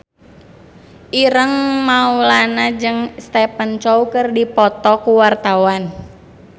Ireng Maulana jeung Stephen Chow keur dipoto ku wartawan